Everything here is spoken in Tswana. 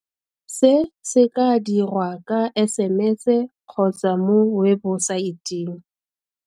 Se se ka dirwa ka SMS kgotsa mo webosaeteng.